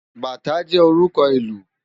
Bátã jè órùkò ilù